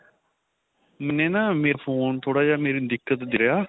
ਮੈਨੇ ਨਾ ਮੇਰਾ phone ਥੋੜਾ ਜਾ ਮੇਰੇ ਦਿਕਤ ਦੇ ਰਿਹਾ